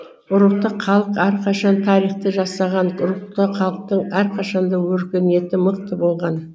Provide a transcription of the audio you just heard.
рухты халық әрқашан тарихты жасаған рухты халықтың әрқашан да өркениеті мықты болған